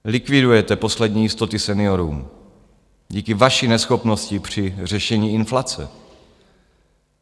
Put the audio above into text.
Likvidujete poslední jistoty seniorům díky vaší neschopnosti při řešení inflace.